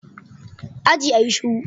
Aji, a yi shiru.